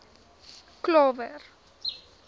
klawer